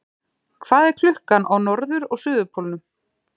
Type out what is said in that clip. Hvað er klukkan á norður- og suðurpólnum?